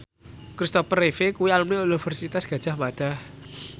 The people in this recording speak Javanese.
Kristopher Reeve kuwi alumni Universitas Gadjah Mada